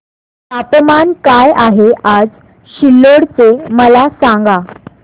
तापमान काय आहे आज सिल्लोड चे मला सांगा